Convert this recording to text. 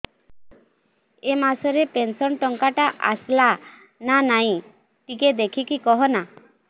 ଏ ମାସ ରେ ପେନସନ ଟଙ୍କା ଟା ଆସଲା ନା ନାଇଁ ଟିକେ ଦେଖିକି କହନା